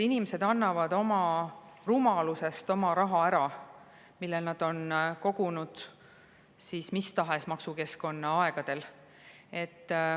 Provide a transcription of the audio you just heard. Inimesed annavad oma rumalusest ära raha, mida nad on kogunud mis tahes maksukeskkonna aegadel.